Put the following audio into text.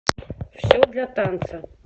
все для танца